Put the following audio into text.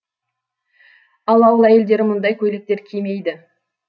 ал ауыл әйелдері мұндай көйлектер кимейді